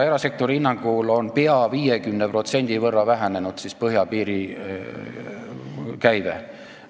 Erasektori hinnangul on käive põhjapiiril peaaegu 50% vähenenud.